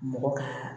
Mɔgɔ kaa